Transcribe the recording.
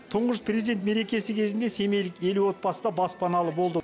тұңғыш президент мерекесі кезінде семейлік елу отбасы да баспаналы болды